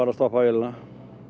að stoppa vélina